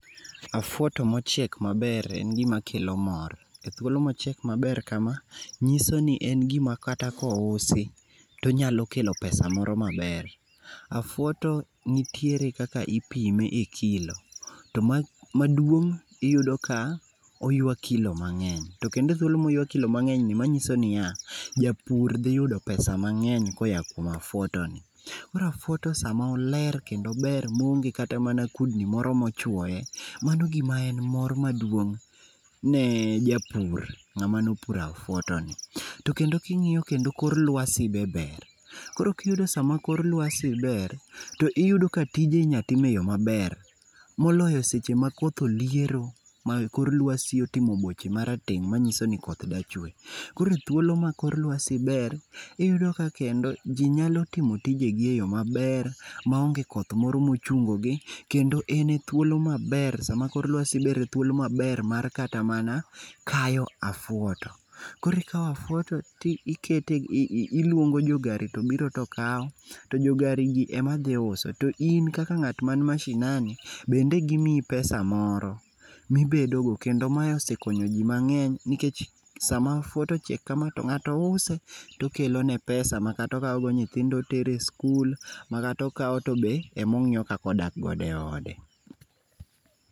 Afuoto mochiek maber en gima kelo mor, e thuolo mochiek maber kama nyisoni en gim akata kousi tonyalo kelo pesa moro maber. Afuoto nitierekaka ipime e kilo, to maduong iyudo ka oywa kilo mang'eny to kendo e thuolo moywa kilo mang'eny ni manyiso niya, japur dhi yudo pesa mang'eny koa kuom afuoto ni. Koro afuoto sama oler, kendo ober moonge kata kudni moro mochuoye, mano gima en mor maduong ne japur, ngama nopuro afuoto ni. To kendo king'iyo kendo kor lwasi be ber, koro kiyudo sama kor lwasi ber, to iyudo ka tije inyal tim e yoo maber moloyo sama koth oliero ma kor lwasi otimo boche marateng' manyiso ni koth dwa chwee. Koro kor lwasi ber, iyudo ka kendo jii nyalo timo tijeni maber maonge tich moro mochungogi kendo en e thuolo maber, sama kor lwasi ber, thuolo maber mar kata mana kayo afuoto. Koro ikao afuoto tikete, iluongojo gari to biro to kao, to jo gari gi ema dhi uso to in kaka ngat mani mashinani bende gimiyi pesa[sc] moro ma ibedo go kendo ma osekonyo jii mangen nikech sama afuoto ochiek kama to ngato use tokelo ne pesa kata okao go nyithindo otere skul matokao tobe ema ongiyo kaka odak godo e ode